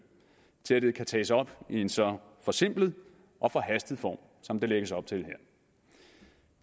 til at det kan tages op i en så forsimplet og forhastet form som der lægges op til her